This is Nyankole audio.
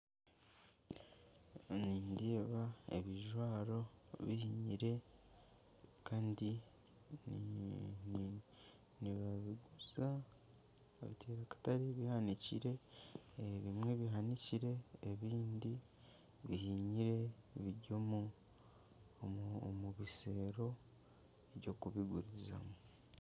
Nindeeba ebijwaro bihinyire nibabiguza omu katare bihanikire bihinyire biri omu bisero by'okubigurizamu.